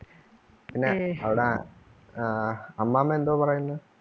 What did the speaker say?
പിന്നെ അവിട ആഹ് അമ്മാമ്മ എന്തോ പറയുന്ന്?